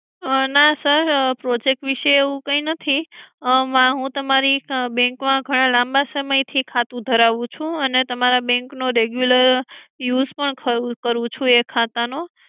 ના sir project વિષે એવું કઈ નથી હું તમારી bank માં ઘણા લાંબા સમયથી ખાતું ધરાવું છું અને તમારા બેંક નો regular use પણ કરું છું આ ખાતા નો